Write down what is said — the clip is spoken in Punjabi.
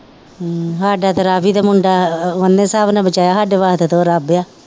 ਹਮ ਸਾਡਾ ਤਾਂ ਰਾਵੀ ਦਾ ਮੁੰਡਾ ਉਹਨੇ ਬਚਾਇਆ ਸਾਡੇ ਵਾਸਤੇ ਤਾਂ ਉਹ ਰੱਬ ਆ।